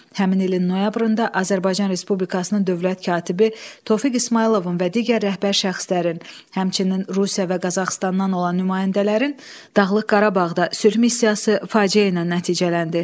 Həmin ilin noyabrında Azərbaycan Respublikasının dövlət katibi Tofiq İsmayılovun və digər rəhbər şəxslərin, həmçinin Rusiya və Qazaxıstandan olan nümayəndələrin Dağlıq Qarabağda sülh missiyası faciə ilə nəticələndi.